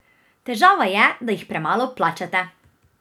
Težava je, da jih premalo plačate!